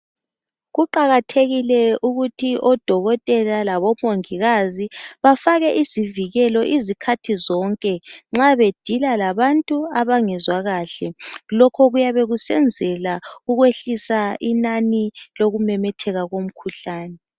Kuqakathekile ukuthi odokotela labomongikazi bafake izivikelo izikhathi zonke nxa bedila labantu abangezwa kahle. Lokhu kuyabe kusenzela ukwehlisa inani lokumemetheka komkhuhlane.